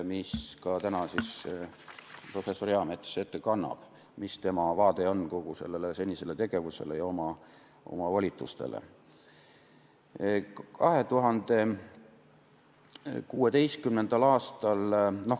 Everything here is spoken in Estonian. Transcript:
Täna kannab professor Eamets ette, milline on tema vaade kogu selle senisele tegevusele ja volitustele.